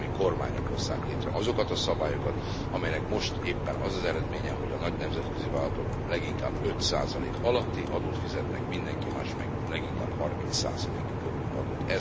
Tagállami kormányok hozzák létre azokat a szabályokat, amelyeknek most éppen az az eredménye, hogy a nagy nemzetközi vállalatok leginkább 5 alatti adót fizetnek, mindenki más meg leginkább 30 körüli adót.